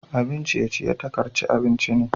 Abun ciye-ciye takarce abinci ne.